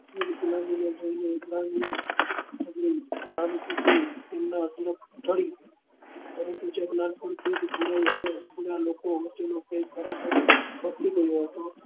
વિક્લાનગી જોઈ ને સહાનુભુતિ તેમના હસ્તે પડી પરંતુ છેક નાનપણ થી જ